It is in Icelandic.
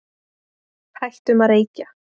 Hættum að reykja.